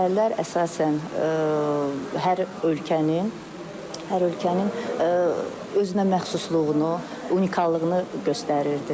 Əsərlər əsasən hər ölkənin, hər ölkənin özünəməxsusluğunu, unikallığını göstərirdi.